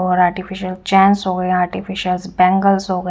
और artificial chains हो गए आर्टिफिशियल बैंगल्स हो गए--